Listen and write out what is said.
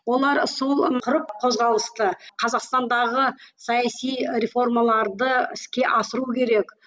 олар сол құрып қозғалысты қазақстандағы саяси реформаларды іске асыру керек